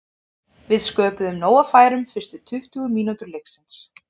Við sköpuðum nóg af færum fyrstu tuttugu mínútur leiksins.